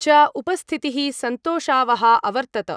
च उपस्थितिः सन्तोषावहा अवर्तत।